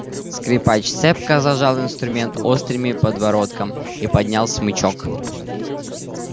скрипач цепко зажал инструмент острыми подбородком и поднял смычок